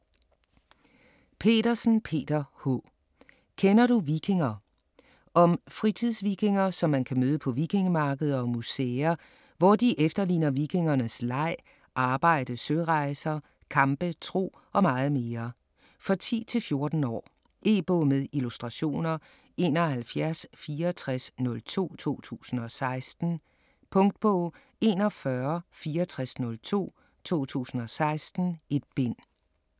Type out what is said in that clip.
Petersen, Peter H.: Kender du vikinger? Om fritidsvikinger som man kan møde på vikingemarkeder og museer, hvor de efterligner vikingernes leg, arbejde, sørejser, kampe, tro og meget mere. For 10-14 år. E-bog med illustrationer 716402 2016. Punktbog 416402 2016. 1 bind.